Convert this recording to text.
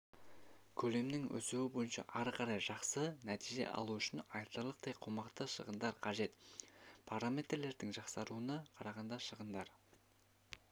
көлемінің өсуі бойынша ары қарай жақсы нәтиже алу үшін айтарлықтай қомақты шығындар қажет параметрлерінің жақсаруына қарағанда шығындар